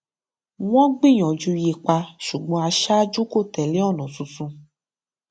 wọn gbìyànjú yípa ṣùgbọn aṣáájú kó tẹlé ònà tuntun